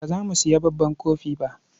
Ba za mu sayi babban kofi ba.